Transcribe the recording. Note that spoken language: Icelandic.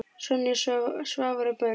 Sonja, Svavar og börn.